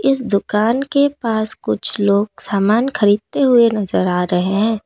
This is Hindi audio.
इस दुकान के पास कुछ लोग समान खरीदते हुए नजर आ रहे हैं।